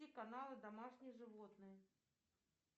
каналы домашние животные